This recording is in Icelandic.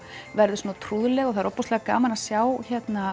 verður trúðsleg og það er gaman að sjá